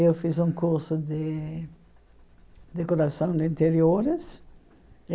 Eu fiz um curso de decoração de interiores.